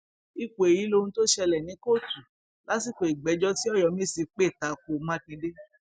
ipò èyí lohun tó ṣẹlẹ ní kóòtù lásìkò ìgbẹjọ tí ọyọmẹsì pè ta ko mákindé